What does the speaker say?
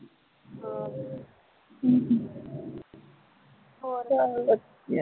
ਹਾਂ ਹਮ ਹੋਰ